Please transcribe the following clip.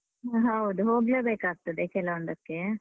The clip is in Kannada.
ಹ ಹೌದು, ಹೋಗ್ಲೇ ಬೇಕಾಗ್ತದೆ, ಕೆಲವೊಂದಕ್ಕೇ.